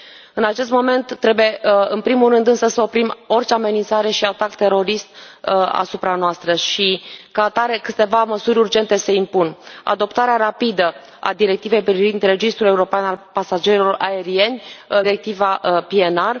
În acest moment trebuie în primul rând însă să oprim orice amenințare și atac terorist asupra noastră și, ca atare, câteva măsuri urgente se impun adoptarea rapidă a directivei privind registrul european al pasagerilor aerieni, directiva PNR.